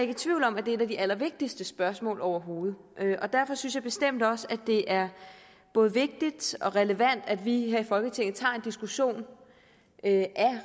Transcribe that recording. i tvivl om at det er et af de allervigtigste spørgsmål overhovedet derfor synes jeg bestemt også at det er både vigtigt og relevant at vi her i folketinget tager en diskussion af